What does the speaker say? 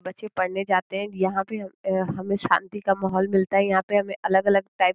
बच्चे पढने जाते हैं। यहाँ पे हमे शांति का माहौल मिलता है। यहाँ पे हमे अलग-अलग टाइप --